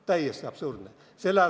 Täiesti absurdne!